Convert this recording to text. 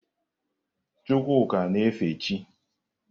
Chukwuka na-efe chị́.